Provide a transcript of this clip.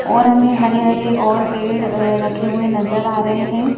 और हमें हरे-हरे और पेड़ रखे हुए नजर आ रहे हैं।